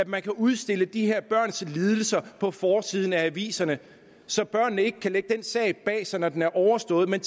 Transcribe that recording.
man kan udstille de her børns lidelser på forsiden af aviserne så børnene ikke kan lægge sagen bag sig når den er overstået men